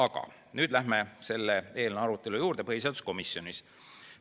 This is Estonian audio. Aga nüüd lähme eelnõu arutelu juurde, mis põhiseaduskomisjonis toimus.